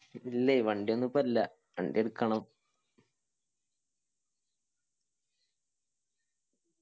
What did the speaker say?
ഇല്ലേ വണ്ടിയൊന്നും ഇപ്പൊ ഇല്ല വണ്ടി എടുക്കണം